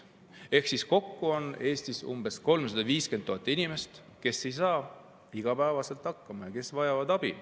Ehk siis kokku on Eestis umbes 350 000 inimest, kes ei saa igapäevaselt hakkama ja vajavad abi.